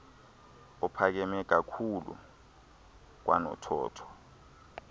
ophakame kakhlulu kwanothotho